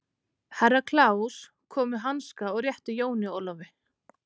Herra Kláus kom með hanska og rétti Jóni Ólafi.